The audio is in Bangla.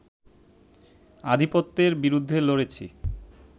আধিপত্যের বিরুদ্ধে লড়েছি